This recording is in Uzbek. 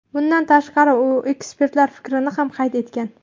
Bundan tashqari u ekspertlar fikrini ham qayd etgan.